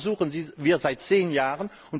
Das versuchen wir seit zehn Jahren.